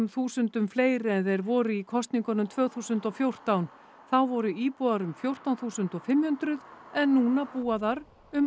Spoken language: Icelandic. þúsundum fleiri en þeir voru í kosningunum tvö þúsund og fjórtán þá voru íbúar um fjórtán þúsund og fimm hundruð en núna búa þar um